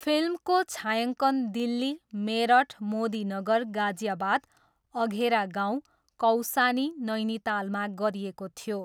फिल्मको छायाङ्कन दिल्ली, मेरठ, मोदीनगर गाजियाबाद, अघेरा गाउँ, कौसानी, नैनीतालमा गरिएको थियो।